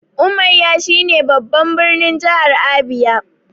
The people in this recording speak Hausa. Umuahia shi ne babban birnin jahar Abia